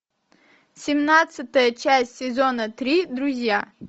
семнадцатая часть сезона три друзья